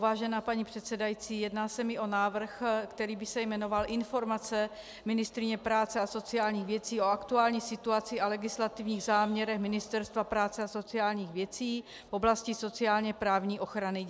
Vážená paní předsedající, jedná se mi o návrh, který by se jmenoval Informace ministryně práce a sociálních věcí o aktuální situaci a legislativních záměrech Ministerstva práce a sociálních věcí v oblasti sociálně-právní ochrany dětí.